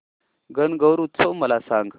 गणगौर उत्सव मला सांग